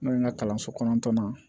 N'o ye n ka kalanso kɔnɔntɔn na